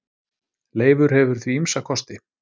Leifur hefur því ýmsa kosti.